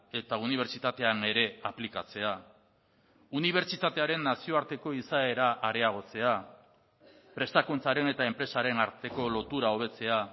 eta unibertsitatean ere aplikatzea unibertsitatearen nazioarteko izaera areagotzea prestakuntzaren eta enpresaren arteko lotura hobetzea